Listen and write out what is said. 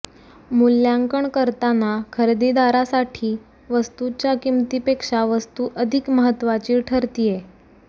मूल्यांकन करताना खरेदीदारासाठी वस्तूच्या किंमतीपेक्षा वस्तू अधिक महत्त्वाची ठरतीये